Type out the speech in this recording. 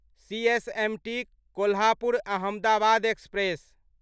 CSMT Kolhapur Ahmedabad express